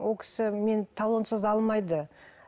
ол кісі мені талонсыз алмайды